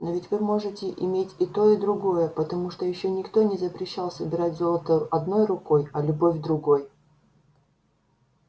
но ведь вы можете иметь и то и другое потому что ещё никто не запрещал собирать золото одной рукой а любовь другой